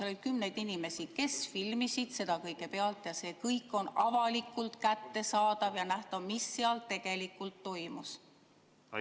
Seal oli kümneid inimesi, kes filmisid seda kõike, ja see kõik on avalikult kättesaadav ja nähtav, mis seal tegelikult toimus.